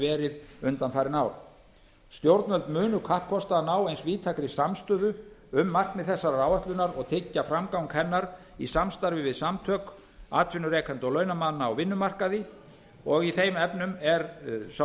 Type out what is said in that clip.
verið undanfarin ár stjórnvöld munu kappkosta að ná eins víðtækri samstöðu um markmið þessarar áætlunar og tryggja framgang hennar í samstarfi við samtök atvinnurekenda og launamanna á vinnumarkaði og í þeim efnum er sá